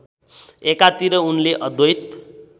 एकातिर उनले अद्वैत